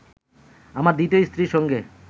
আমার দ্বিতীয় স্ত্রীর সঙ্গে